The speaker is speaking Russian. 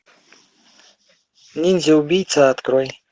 ниндзя убийца открой